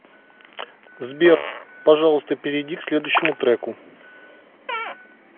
сбер пожалуйста перейди к следующему треку